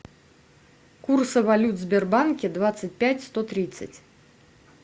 курсы валют в сбербанке двадцать пять сто тридцать